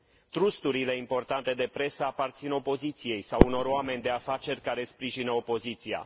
Trusturile importante de presă aparțin opoziției sau unor oameni de afaceri care sprijină opoziția.